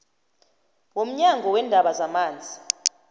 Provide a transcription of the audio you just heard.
womnyango weendaba zamanzi